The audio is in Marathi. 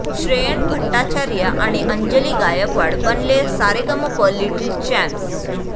श्रेयण भट्टाचार्य आणि अंजली गायकवाड बनले 'सारेगमप लिटिल चॅम्प्स'